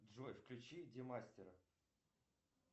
джой включи демастера